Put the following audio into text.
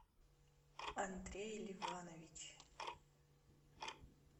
андрей ливанович